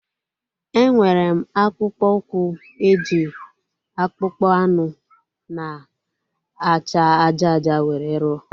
Enwere m akpụkpọ ụkwụ e ji akpụkpọ anụ na acha ájá ájá were rụọ